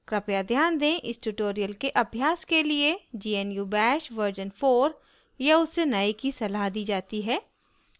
कृपया ध्यान दें इस tutorial के अभ्यास के लिए gnu bash version 4 या उससे नए की सलाह दी जाती है